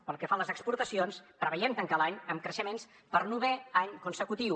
pel que fa a les exportacions preveiem tancar l’any amb creixements per novè any consecutiu